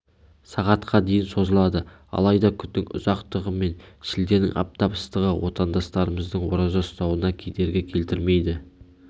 сағатқа дейін созылады алайда күннің ұзақтығы мен шілденің аптап ыстығы отандастарымыздың ораза ұстауына кедергі келтірмейді